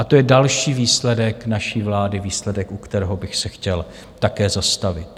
A to je další výsledek naší vlády, výsledek, u kterého bych se chtěl také zastavit.